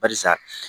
Barisa